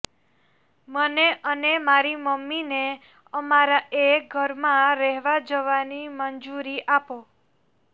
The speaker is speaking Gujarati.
મને અને મારી મમ્મીને અમારા એ ઘરમાં રહેવા જવાની મંજ્રરી આપો